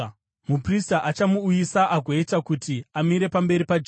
“ ‘Muprista achamuuyisa agoita kuti amire pamberi paJehovha.